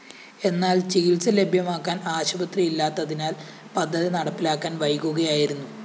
എന്നാല്‍ ചികിത്സ ലഭ്യമാക്കാന്‍ ആശുപത്രി ഇല്ലാത്തതിനാല്‍ പദ്ധതി നടപ്പിലാക്കാന്‍ വൈകുകയായിരുന്നു